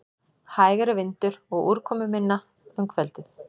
Hægari vindur og úrkomuminna um kvöldið